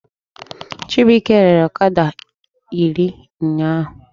Chibuike rere ọkada iri ụnyaahụ